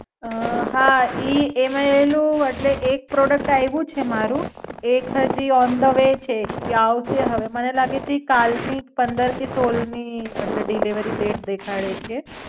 અમ હા, ઈ એમાં એલુ એટલે એક પ્રોડક્ટ આઈવું છે મારુ એક હજી ઓન ધ વે છે ઈ આવશે હવે. મને લાગે છે કાલ ની કે પંદર થી સોળ ની અમ એટલે ડેટ દેખાડે છે.